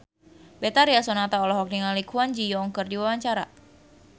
Betharia Sonata olohok ningali Kwon Ji Yong keur diwawancara